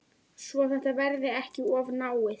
Svo þetta verði ekki of náið.